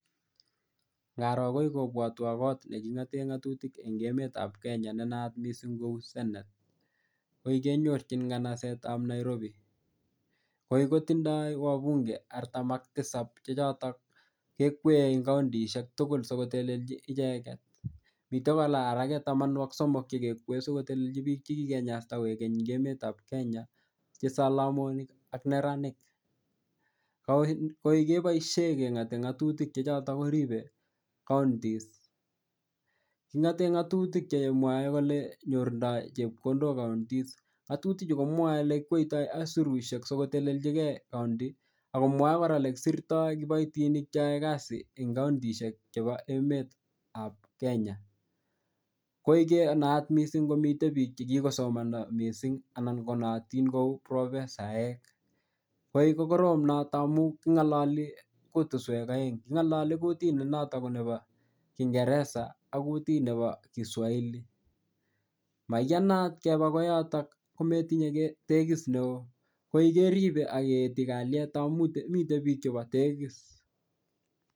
Ngaroo kobwotwoon koot negingoteen ngatutik en emet ab kenya nenaat miising kouu senate ngoii kenyorchin komostaab nairobi, koii kotindoo wabunge araam ak tisab chechoton kekween kaonitshek tugul sigotelchi icheget, mitee kolaa alaguu tamanu ak somok sigotelechi biik chegigenyasta koegeny en emeet ab kenya chesalamonik ak neraniik, koek keboishen kengote ngatutik chechoten koribe counties kingoteen ngatutik chemwoe kole nyorundaai chepkondook counties, nagtutik chu komwoe kole elegikwoitoi aisurushek sigotelechigee counties ak komwoee koraa olegisirtoo kiboitinik cheyoee kasii en kountishek chebo emet ab kenya, koek kenaak mising' komiiten biik chegisomanda mising anan konootiin kouu profesaek koek kogoroom noton amuun kingololi kutusweek oeng, kingololi kutiit ne noton konebo kingeresa ak kutiit nebo kiswahili, mayanaat keba koyoton kometinye tegiss neoo, koii keribe ak kinde kalieet amun miten biik chebi tegiss.